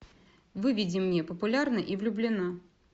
выведи мне популярна и влюблена